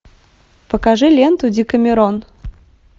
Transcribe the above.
покажи ленту декамерон